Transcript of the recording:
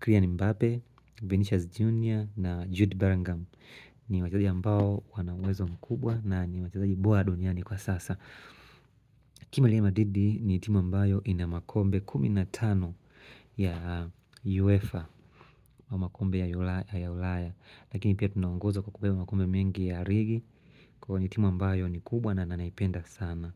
Killian Mbappe, Vinicius Jr. Na Jude Berinngam ni wachazi ambao wana uwezo mkubwa na ni wachezaji bora duniani kwa sasa timu ya Madrid ni timu ambayo inamakombe 15 ya UEFA Makombe ya ulayaLakini pia tunaongoza kwa kubeba makombe mengi ya Rigi Kwa nitimu ambayo ni kubwa na nanaipenda sana.